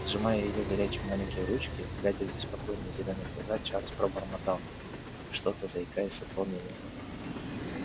сжимая её горячие маленькие ручки глядя в беспокойные зелёные глаза чарлз пробормотал что-то заикаясь от волнения